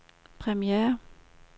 premiere